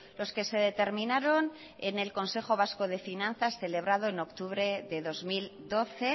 los que se determinaron en el consejo vasco de finanzas celebrado en octubre de dos mil doce